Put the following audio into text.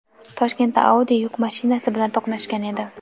Toshkentda Audi yuk mashinasi bilan to‘qnashgan edi.